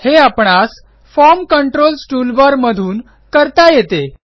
हे आपणासForm controls toolbar मधून करता येते